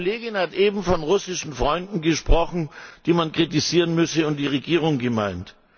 Eine Kollegin hat eben von russischen Freunden gesprochen, die man kritisieren müsse, und die Regierung gemeint.